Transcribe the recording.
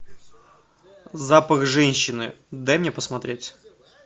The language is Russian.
запах женщины дай мне посмотреть